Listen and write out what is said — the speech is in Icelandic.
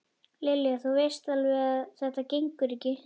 Lilja, þú veist alveg að þetta gengur ekki